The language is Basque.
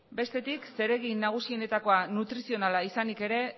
bestetik zeregin nagusienetakoa nutrizionala izanik ere